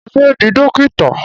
Mo fẹ́ di Dókítà.